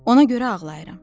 Ona görə ağlayıram.